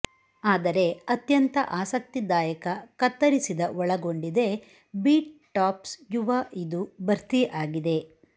ಆದರೆ ಅತ್ಯಂತ ಆಸಕ್ತಿದಾಯಕ ಕತ್ತರಿಸಿದ ಒಳಗೊಂಡಿದೆ ಬೀಟ್ ಟಾಪ್ಸ್ ಯುವ ಇದು ಭರ್ತಿ ಆಗಿದೆ